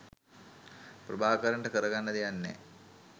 ප්‍රභාකරන්ට කරගන්න දෙයක් නෑ